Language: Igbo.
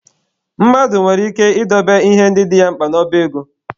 Mmadụ nwere ike ị dobe ihe ndị dị ya mkpa n'ọba ego